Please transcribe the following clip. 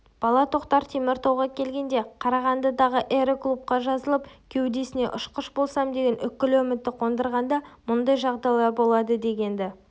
бала тоқтар теміртауға келгенде қарағандыдағы аэроклубқа жазылып кеудесіне ұшқыш болсам деген үкілі үмітті қондырғанда мұндай жағдайлар болады дегенді